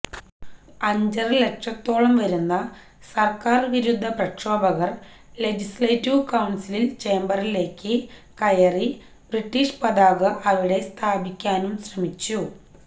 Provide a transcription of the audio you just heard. അഞ്ചര ലക്ഷത്തോളം വരുന്ന സര്ക്കാര് വിരുദ്ധ പ്രക്ഷോഭകര് ലെജിസ്ലേറ്റീവ് കൌണ്സില് ചേംബറിലേക്ക് കയറി ബ്രിട്ടിഷ് പതാക അവിടെ സ്ഥാപിക്കാനും ശ്രമിച്ചു